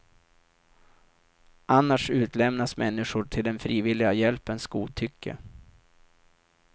Annars utlämnas människor till den frivilliga hjälpens godtycke.